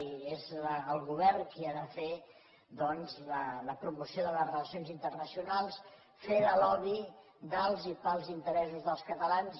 i és el govern qui ha de fer doncs la promoció de les relacions internacionals fer de lobby dels i per als interessos dels catalans